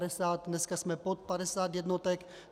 Dneska jsme pod 50 jednotek.